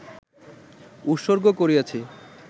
উৎসর্গ করিয়াছি